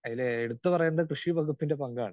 Speaker 2 അതില് എടുത്തുപറയേണ്ടത് കൃഷിവകുപ്പിന്റെ പങ്കാണ്.